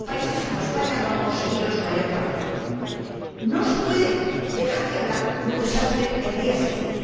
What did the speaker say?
Otros países, como España, lo han conseguido en su mayor parte. No se puede dejar de hablar de un desastre el día siguiente.